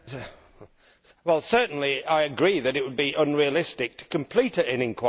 Certainly I agree that it would be unrealistic to complete an inquiry by March